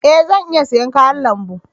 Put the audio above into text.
E! Zan iya siyan kayan lambu.